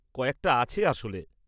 কয়েকটা আছে আসলে।